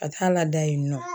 Ka taa laada yen nɔ